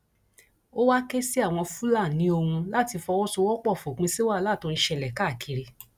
ó wàá ké sí àwọn fúlàní ohun láti fọwọsowọpọ fòpin sí wàhálà tó ń ṣẹlẹ káàkiri